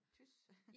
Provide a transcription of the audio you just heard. Tys